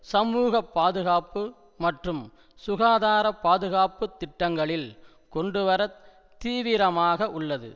சமூக பாதுகாப்பு மற்றும் சுகாதார பாதுகாப்பு திட்டங்களில் கொண்டுவர தீவிரமாக உள்ளது